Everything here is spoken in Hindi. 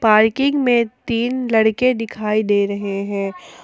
पार्किंग में तीन लड़के दिखाई दे रहे हैं ।